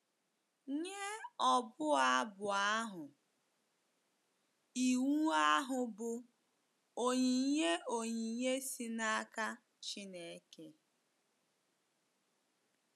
Nye ọbụ abụ ahụ, iwu ahụ bụ onyinye onyinye si n’aka Chineke.